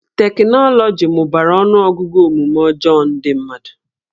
Teknọlọgi mụbara ọnụọgụgụ omume ọjọọ ndị mmadụ